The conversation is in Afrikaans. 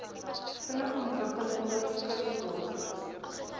vinnig ontwikkelende kusdorpe